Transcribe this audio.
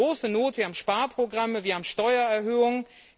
Wir haben große Not, wir haben Sparprogramme, wir haben Steuererhöhungen.